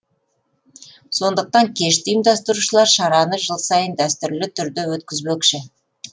сондықтан кешті ұйымдастырушылар шараны жыл сайын дәстүрлі түрде өткізбекші